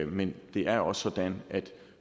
men det er også sådan at